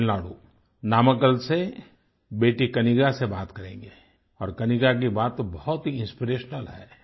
तमिलनाडु नामाक्कल से बेटी कनिग्गा से बात करेंगे और कनिग्गा की बात तो बहुत ही इंस्पिरेशनल है